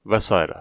Və sairə.